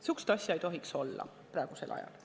Säärast asja ei tohiks praegusel ajal olla.